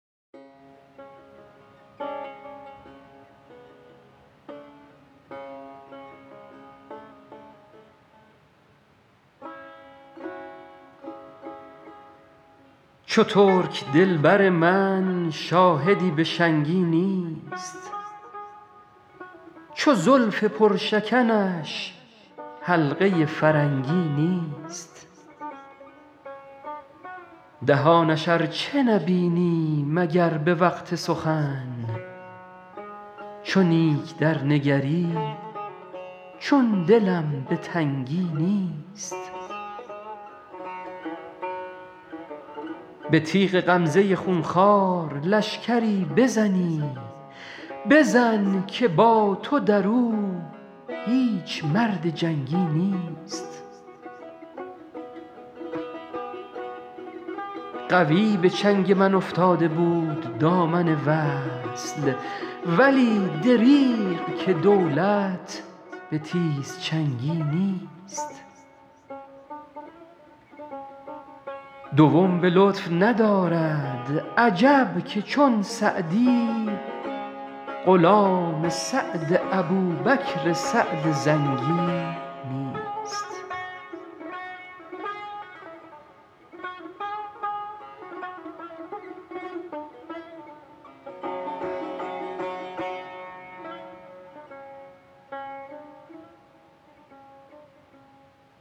چو ترک دل بر من شاهدی به شنگی نیست چو زلف پرشکنش حلقه فرنگی نیست دهانش ار چه نبینی مگر به وقت سخن چو نیک درنگری چون دلم به تنگی نیست به تیغ غمزه خون خوار لشکری بزنی بزن که با تو در او هیچ مرد جنگی نیست قوی به چنگ من افتاده بود دامن وصل ولی دریغ که دولت به تیزچنگی نیست دوم به لطف ندارد عجب که چون سعدی غلام سعد ابوبکر سعد زنگی نیست